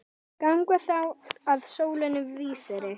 Ganga þá að sólinni vísri.